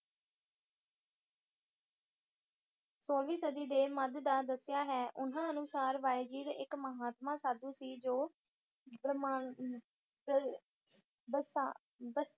ਸੋਲਵੀ ਸਦੀ ਦੇ ਮੱਧ ਦਾ ਦੱਸਿਆ ਹੈ ਉਹਨਾਂ ਅਨੁਸਾਰ ਬਾਯਜੀਦ ਇੱਕ ਮਹਾਤਮਾ ਸਾਧੂ ਸੀ ਜੋ ਬਮਾਚਲ ਬਸਾ~ ਬਸ